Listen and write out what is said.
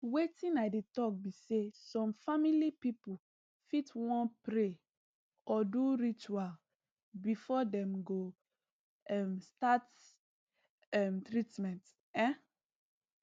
wetin i dey talk be say some family people fit wan pray or do ritual before dem go um start um treatment um